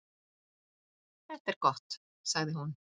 Það er gott, sagði hún.